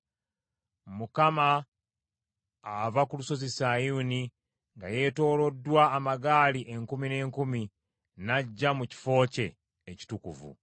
Mukama ava ku lusozi Sinaayi nga yeetooloddwa amagaali enkumi n’enkumi n’ajja mu kifo kye ekitukuvu.